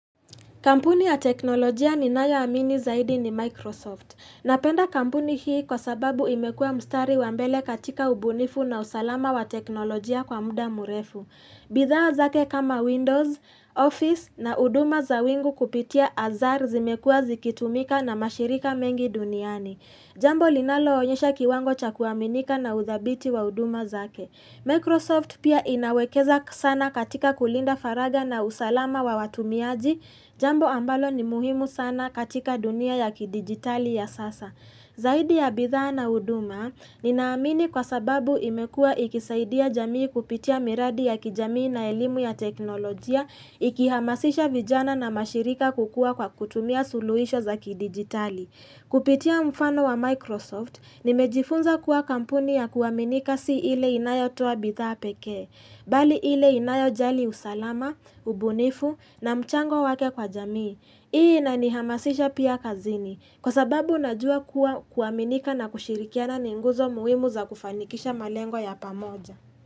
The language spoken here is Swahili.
Kampuni ya teknolojia ninayo amini zaidi ni Microsoft. Napenda kampuni hii kwa sababu imekua mstari wa mbele katika ubunifu na usalama wa teknolojia kwa muda mrefu. Bidhaa zake kama Windows, Office na uduma za wingu kupitia azar zimekuwa zikitumika na mashirika mengi duniani. Jambo linalo onyesha kiwango cha kuaminika na udhabiti wa uduma zake. Microsoft pia inawekeza sana katika kulinda faraga na usalama wa watumiaji. Jambo ambalo ni muhimu sana katika dunia ya kidigitali ya sasa. Zaidi ya bidhaa na uduma, ninaamini kwa sababu imekuwa ikisaidia jamii kupitia miradi ya kijamii na elimu ya teknolojia, ikihamasisha vijana na mashirika kukuwa kwa kutumia suluisho za kidigitali. Kupitia mfano wa Microsoft, nimejifunza kuwa kampuni ya kuwaminika si ile inayotoa bidhaa pekee, bali ile inayojali usalama, ubunifu na mchango wake kwa jamii. Hii inanihamasisha pia kazini. Kwa sababu unajua kuwa kuaminika na kushirikiana ni nguzo muhimu za kufanikisha malengo ya pamoja.